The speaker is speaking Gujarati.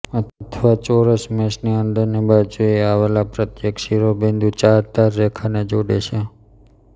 અથવા ચોરસ મેશની અંદરની બાજુએ આવેલા પ્રત્યેક શિરોબિંદુ ચાર ધાર રેખાને જોડે છે